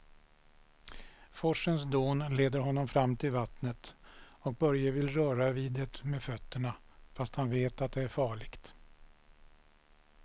Forsens dån leder honom fram till vattnet och Börje vill röra vid det med fötterna, fast han vet att det är farligt.